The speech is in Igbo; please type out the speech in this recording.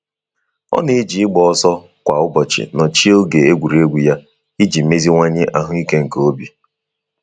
Ọ na-eji igba ọsọ kwa ụbọchị nochie oge egwuregwu ya iji meziwanye ahụ ike nke obi.